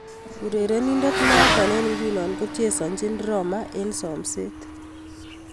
Urerenindet noto eng' nguno kochesanjin Roma eng somset.